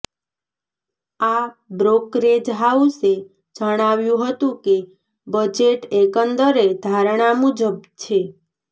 આ બ્રોકરેજ હાઉસે જણાવ્યું હતું કે બજેટ એકંદરે ધારણા મુજબ છે